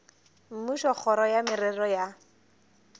mmušo kgoro ya merero ya